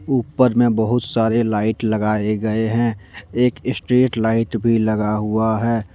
ऊपर में बहुत सारे लाइट लगाए गए हैं एक स्ट्रीट लाइट भी लगा हुआ है।